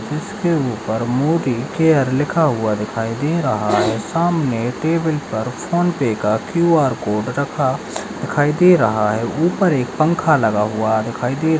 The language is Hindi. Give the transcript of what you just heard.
इसके ऊपर मोदी केयर लिखा हुआ दिखाई दे रहा है सामने टेबल पर फोन पे का क्यू आर कोड रखा दिखाई दे रहा है ऊपर एक पंखा लगा दिखाई दे रहा।